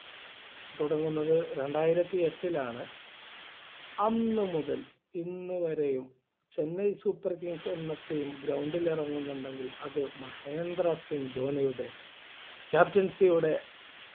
തുടങ്ങുന്നത് രണ്ടായിരത്തിഎട്ടിലാണ് അന്നുമുതൽ ഇന്നു വരെയും ചെന്നൈ super kings എന്ന Team Ground ഇറങ്ങുന്നുണ്ടെങ്കിൽ അത് മഹേന്ദ്ര സിംഗ് ധോണിയുടെ Captaincy യുടെ